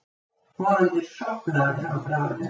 Vonandi sofnaði hann bráðlega.